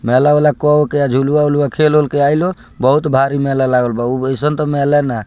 मेला-ओला को उ के झुलवा-उलवा खेल-उल के आइलो बहुत भारी मेला लागल बा ऊ एइसन तो मेले ना।